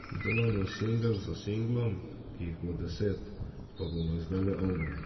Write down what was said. Delamo singel za singlom, ko jih bo deset, pa bomo izdali album.